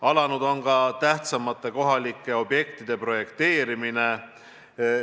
Alanud on ka tähtsamate kohalike objektide projekteerimine.